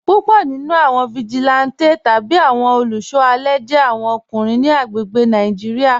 Púpọ̀ nínú awọn vigilante tabi awọn olùṣọ alẹ jẹ̀ awọn ọkùnrin ni agbègbè̀ Nàìjíríà.